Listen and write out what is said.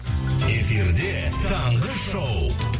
эфирде таңғы шоу